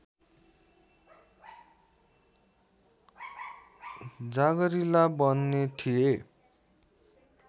जाँगरिला बन्ने थिए